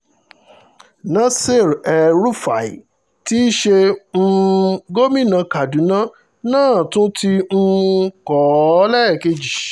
nasir el-rufai tí í ṣe um gómìnà kaduna náà ti tún um kọ́ ọ lẹ́ẹ̀kejì